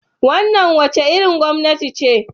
Wannan wace irin gwamnati ce?